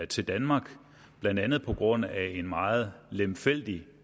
til danmark blandt andet på grund af en meget lemfældig